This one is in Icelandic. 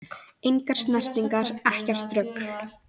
Engar snertingar, ekkert rugl!